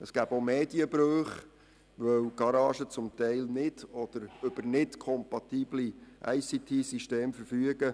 Es gäbe auch Medienbrüche, weil die Werkstätten zum Teil nicht über kompatible Informations- und Kommunikationstechnologie-Systeme (ICT-Systeme) verfügen.